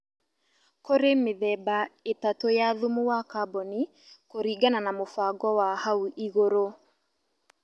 Kũrĩ mĩthemba ĩtatũ ya thumu wa kaboni kũringana na mũbango wa hau igũrũ